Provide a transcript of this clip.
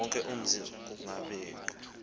wonke umzi kangubengcu